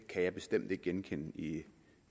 kan jeg bestemt ikke genkende i